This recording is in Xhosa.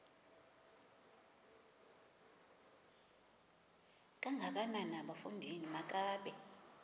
kangakanana bafondini makabe